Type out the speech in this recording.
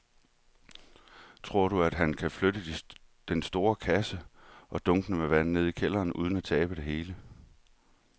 Tror du, at han kan flytte den store kasse og dunkene med vand ned i kælderen uden at tabe det hele?